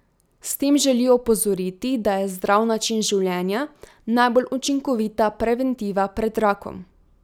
S tem želijo opozoriti, da je zdrav način življenja najbolj učinkovita preventiva pred rakom.